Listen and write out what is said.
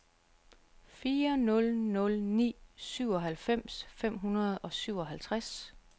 fire nul nul ni syvoghalvfems fem hundrede og syvoghalvtreds